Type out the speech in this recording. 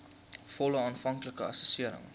volle aanvanklike assessering